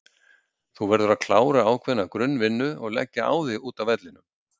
Þú verður að klára ákveðna grunn vinnu og leggja á þig úti á vellinum.